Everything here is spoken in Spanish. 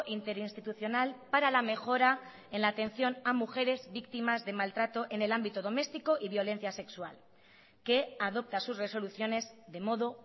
interinstitucional para la mejora en la atención a mujeres víctimas de maltrato en el ámbito doméstico y violencia sexual que adopta sus resoluciones de modo